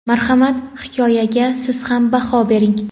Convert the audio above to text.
Marhamat, hikoyaga siz ham baho bering.